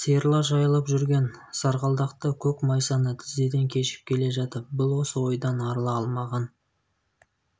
сиырлар жайылып жүрген сарғалдақты көк майсаны тізеден кешіп келе жатып бұл осы ойдан арыла алмаған